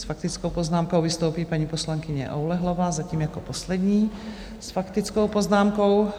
S faktickou poznámkou vystoupí paní poslankyně Oulehlová, zatím jako poslední s faktickou poznámkou.